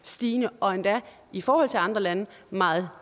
stigende og endda i forhold til andre lande meget